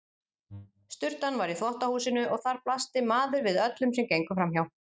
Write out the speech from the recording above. Sturtan var í þvottahúsinu og þar blasti maður við öllum sem gengu framhjá.